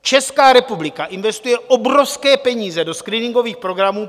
Česká republika investuje obrovské peníze do screeningových programů.